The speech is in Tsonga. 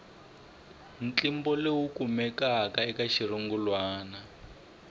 ntlimbo lowu kumekaka eka xirungulwana